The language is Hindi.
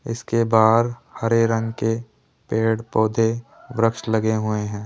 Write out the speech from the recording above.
इसके बाहर हरे रंग के पेड़ पौधे वृक्ष लगे हुए हैं।